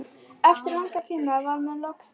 Eftir langan tíma var mér loks sleppt.